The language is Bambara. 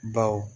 Baw